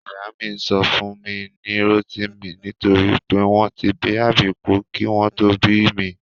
Ìyá mi sọ mí ní Rótìmí nítorí pé wọn tí bí àbíkú kí wọ́n tó bí mi